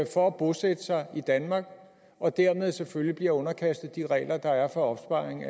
for at bosætte sig i danmark og dermed selvfølgelig bliver underkastet de regler der er for opsparing